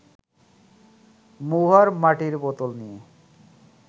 মহুয়ার মাটির বোতল নিয়ে